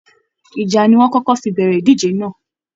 Ìjà ni wọ́n kókọ́ fi bẹ̀rẹ̀ ìdíje náà